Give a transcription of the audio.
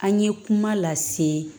An ye kuma lase